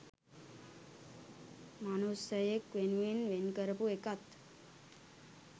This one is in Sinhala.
"මනුස්සයෙක්" වෙනුවෙන් වෙන් කරපු එකත්